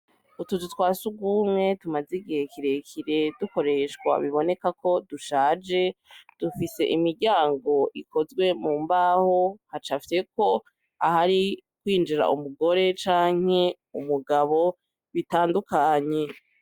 Utuzu twa si ugumwe tumazigihe kirekire dukoreshwa biboneka ko dushaje dufise imiryango ikozwe mu mbaho haca afyeko aho ari kwinjira umugore canke umugabo bitandukanye.